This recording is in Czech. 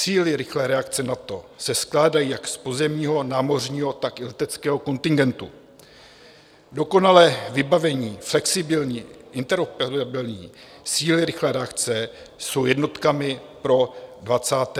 Síly rychlé reakce NATO se skládají jak z pozemního, námořního, tak i leteckého kontingentu, dokonale vybavené, flexibilní, interoperabilní - síly rychlé reakce jsou jednotkami pro 21. století.